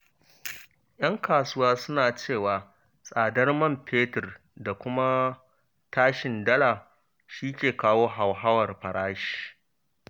Ƴan kasuwa suna cewa tsadar man fetur da kuma tashin dala shi ke kawo hauhawar farashi.